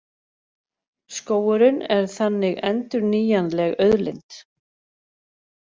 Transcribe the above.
Skógurinn er þannig endurnýjanleg auðlind.